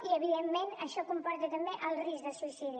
i evidentment això comporta també el risc de suïcidi